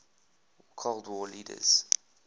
cold war leaders